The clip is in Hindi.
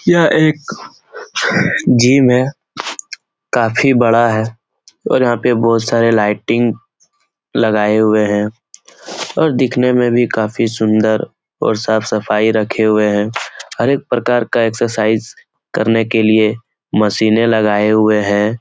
यहाँ एक जिम हैं । काफी बड़ा है। और यहाँ पे बहोत सारे लाय्टिंग लगाये हुए हैं और देखने में भी काफी सुन्दर और साफ़ सफाई रखे हुए हैं । हरेक प्रकार का एकसरसाइज करने के लिए मशीने लगाये हुए हैं ।